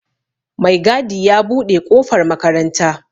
maigadi ya buɗe ƙofar makaranta